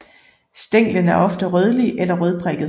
Stænglen er ofte rødlig eller rødprikket